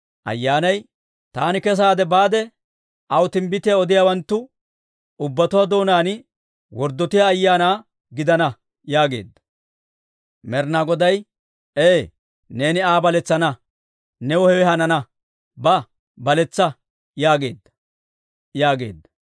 Ayyaanay, «Taani kesaade baade, aw timbbitiyaa odiyaawanttu ubbatuwaa doonaan worddotiyaa ayaana gidana» yaageedda. Med'inaa Goday, «Ee, neeni Aa baletsana; new hewe hanana. Ba; baletsa yaageedda» yaageedda.